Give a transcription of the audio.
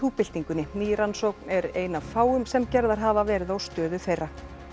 byltingunni ný rannsókn er ein af fáum sem gerðar hafa verið á stöðu þeirra